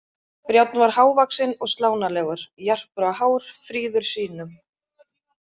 Brjánn var hávaxinn og slánalegur, jarpur á hár, fríður sýnum.